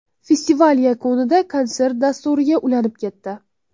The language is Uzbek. Festival yakunida konsert dasturiga ulanib ketdi.